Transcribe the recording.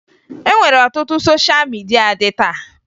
E nwere ọtụtụ sosha midia dị taa